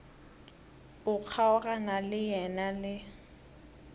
o kgaogana le yena le